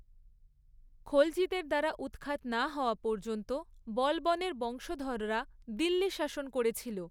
খলজিদের দ্বারা উৎখাত না হওয়া পর্যন্ত বলবনের বংশধররা দিল্লি শাসন করেছিল।